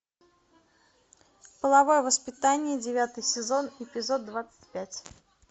половое воспитание девятый сезон эпизод двадцать пять